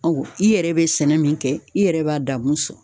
Ɔ i yɛrɛ be sɛnɛ min kɛ i yɛrɛ b'a damu sɔrɔ